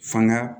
Fanga